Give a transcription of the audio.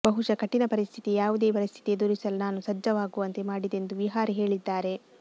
ಬಹುಶಃ ಕಠಿಣ ಪರಿಸ್ಥಿತಿಯೇ ಯಾವುದೇ ಪರಿಸ್ಥಿತಿ ಎದುರಿಸಲು ನಾನು ಸಜ್ಜಾಗುವಂತೆ ಮಾಡಿದೆ ಎಂದು ವಿಹಾರಿ ಹೇಳಿದ್ದಾರೆ